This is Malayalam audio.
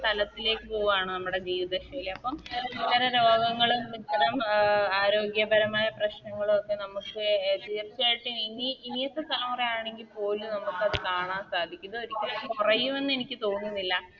തലത്തിലേക്ക് പോവാണ് നമ്മുടെ ജീവിത ശൈലി അപ്പം ഇത്തരം രോഗങ്ങളും ഇത്തരം അഹ് ആരോഗ്യപരമായ പ്രശ്നങ്ങളു ഒക്കെ നമുക്ക് എ തീർച്ചയായിട്ടും ഇനി ഇനിത്തെ തലമുറ ആണെങ്കിപോലും നമുക്കത് കാണാൻ സാധിക്കും ഇത് ഒരിക്കലും കൊറയുവെന്ന് എനിക്ക് തോന്നുന്നില്ല